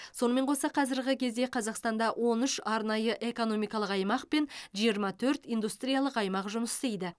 сонымен қоса қазіргі кезде қазақстанда он үш арнайы экономикалық аймақ пен жиырма төрт индустриялық аймақ жұмыс істейді